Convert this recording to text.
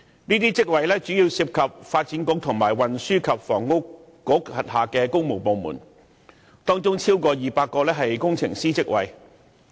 這些職位主要涉及發展局和運輸及房屋局轄下的工務部門，當中超過200個為工程師職位。